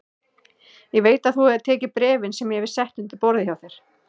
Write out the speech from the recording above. Ég veit að þú hefur tekið bréfin sem ég hef sett undir borðið hjá þér